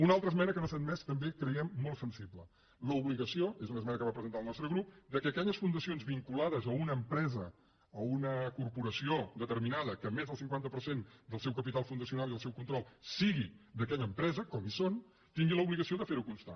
una altra esmena que no s’ha admès també creiem que molt sensible l’obligació és una esmena que va presentar el nostre grup que aquelles fundacions vinculades a una empresa o a una corporació deter·minada i que més del cinquanta per cent del seu capital fun·dacional i el seu control sigui d’aquella empresa com n’hi ha tinguin l’obligació de fer·ho constar